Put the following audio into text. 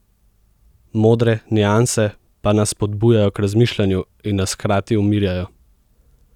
Modre nianse pa nas spodbujajo k razmišljanju in nas hkrati umirjajo.